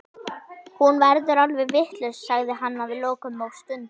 Hún verður alveg vitlaus, sagði hann að lokum og stundi.